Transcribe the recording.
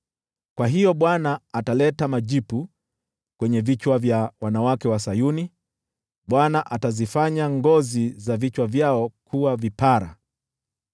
Kwa hiyo Bwana ataleta majipu kwenye vichwa vya wanawake wa Sayuni; Bwana atazifanya ngozi za vichwa vyao kuwa vipara.”